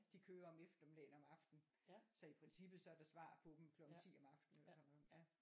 De kører om eftermiddagen og om aftenen så i princippet så er der svar på dem klokken 10 om aftenen eller sådan noget